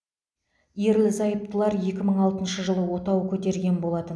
ерлі зайыптылар екі мың алтыншы жылы отау көтерген болатын